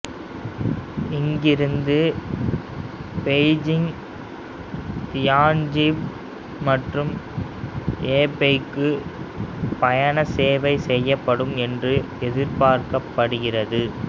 இங்கிருந்து Beijing Tianjin மற்றும் ஏபெய்க்கு பயண சேவை செய்யப்படும் என்று எதிர்பார்க்கப்படுகிறது